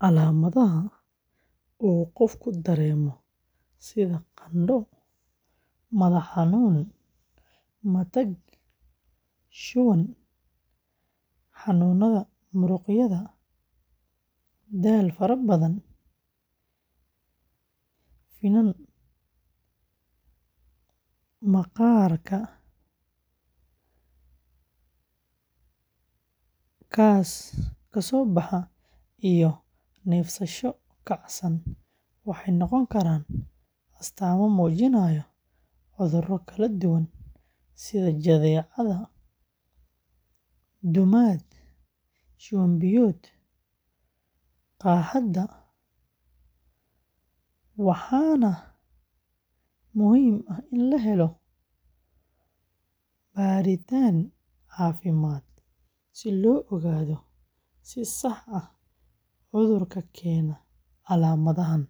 Calaamadaha uu qofku dareemo sida qandho, madax-xanuun, matag, shuban, xanuunada muruqyada, daal fara badan, finan maqaarka ka soo baxa, iyo neefsasho kacsan waxay noqon karaan astaamo muujinaya cudurro kala duwan sida jadeecada, duumada, shuban-biyoodka, qaaxada, waxaana muhiim ah in la helo baadhitaan caafimaad si loo ogaado si sax ah cudurka keena calaamadahan,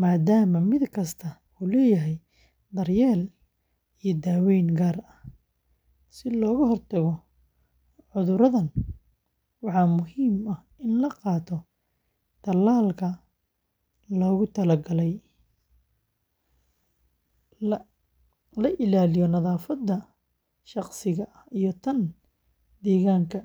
maadaama mid kasta uu leeyahay daryeel iyo daaweyn gaar ah; si looga hortago cudurradan, waxaa muhiim ah in la qaato tallaalka lagu talo galay, la ilaaliyo nadaafadda shakhsiga ah iyo tan deegaanka.